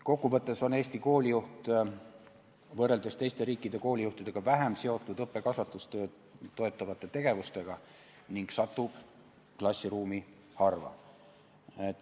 Kokkuvõttes on Eesti koolijuht võrreldes teiste riikide koolijuhtidega vähem seotud õppe- ja kasvatustööd toetavate tegevustega ning satub klassiruumi harva.